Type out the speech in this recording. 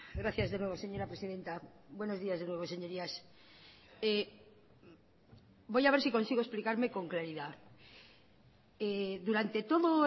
gracias de nuevo señora presidenta buenos días de nuevo señorías voy a ver si consigo explicarme con claridad durante todo